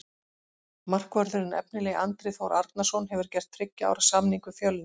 Markvörðurinn efnilegi Andri Þór Arnarson hefur gert þriggja ára samning við Fjölni.